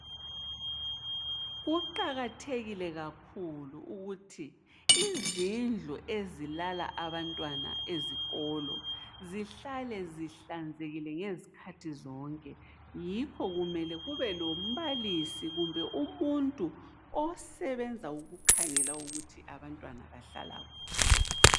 Kuqakathekile kakhulu ukuthi izindlu ezilala abantwana ezikolo zihlale zihlanzekile ngezikhathi zonke. Yikho kumele kube lombalisi kumbe umuntu osebenza ukukhangela ukuthi abantwana bahlala kuhle.